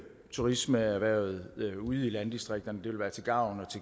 turismeerhvervet ude i landdistrikterne det vil være til gavn og